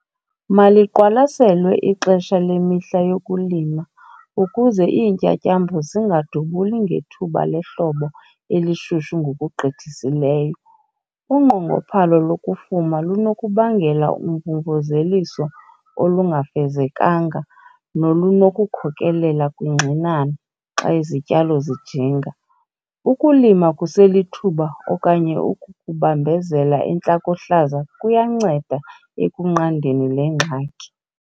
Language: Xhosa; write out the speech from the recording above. Maliqwalaselwe ixesha lemihla yokulima ukuze iintyatyambo zingadubuli ngethuba lehlobo elishushu ngokugqithisileyo. Unqongophalo lokufuma lunokubangela umvumvuzeliso olungafezekanga, nolunokukhokelela kwingxinano, xa izityalo zijinga. Ukulima kuselithuba okanye ukukubambezela entlakohlaza kuyanceda ekunqandeni le ngxaki.